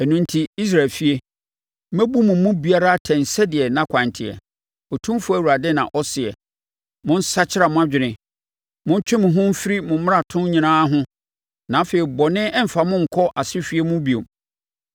“Ɛno enti, Israel efie, mɛbu mo mu biara atɛn sɛdeɛ nʼakwan teɛ, Otumfoɔ Awurade na ɔseɛ. Monsakra mo adwene! Montwe mo ho mfiri mo mmaratoɔ nyinaa ho; na afei bɔne remfa mo nkɔ asehweɛ mu bio.